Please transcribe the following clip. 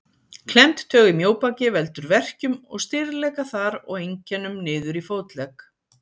Klemmd taug í mjóbaki veldur verkjum og stirðleika þar og einkennum niður í fótlegg.